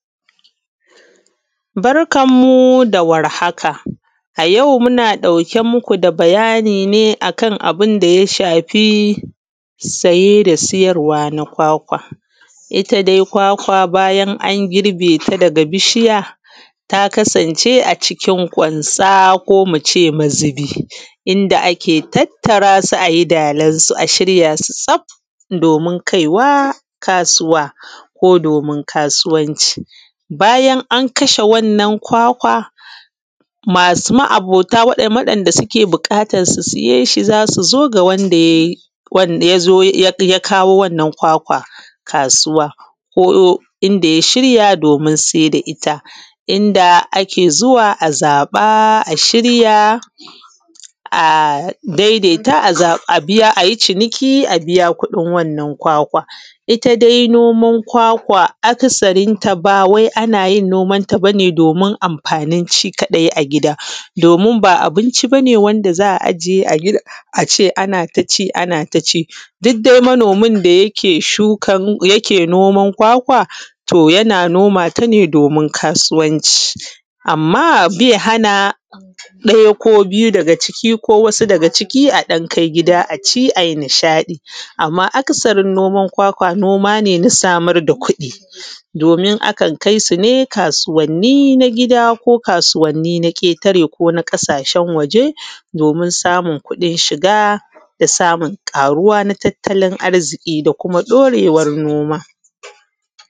Barkan mu da warhaka. A yau muna ɗauke muku da bayani ne akan abunda ya shafi saye da sayarwa na kwakwa. Itta dai kwakwa bayan an girbe ta daga bishiya ta kasance a cikin kwansa ko muce mazubi. Inda ake tattarasu ayi dalan su a shiryasu tsaf don kaiwa kasuwa ko domin kasuwanci. Bayan an kashe wannan kwakawa masu ma’abota waɗam da wadan da suke buƙatan su siyeshi zasu zo ga wanda yayi wanda yazo ya kawo wannan kwakwa kasuwa ko inda ya shiya domin saida itta inda ake zuwa a zaɓa a shirya a daidaita a zaba a daidaita a biya ayi ciniki a biya kuɗin wannan kwakwan. Itta dai noman kwakwa aka sarinta bawai ana yin nomanta bane domin amfanin shi kaɗai a gida domin ba abinci bane wanda za’a ajiye gida ace anataci anataci duddai manomin da yake shuka noman kwakwa to yana nomata ne domin kasuwanci, amma bai hana ɗaya ko biyu ko daga ciki ko wasu daga ciki a ɗan akai gida aci ai nishaɗi, amma a kasarin noman kwakwa noma ne na samar da kuɗi domin akan kai sune kasuwanni na gida ko kasuwanni na ƙetare kona ƙasashen waje domin samun kuɗin shiga da samun ƙaruwa na tattalin arziƙi da kuma ɗorewan noma.